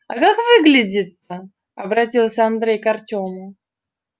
а как выглядит-то обратился андрей к артему